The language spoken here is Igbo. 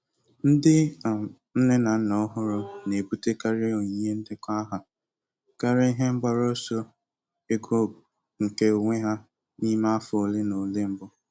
Ndị um nne na nna ọhụrụ na-ebutekarị onyinye ndekọ aha karịa ihe mgbaru ọsọ ego nke onwe ha n'ime afọ ole na ole mbụ.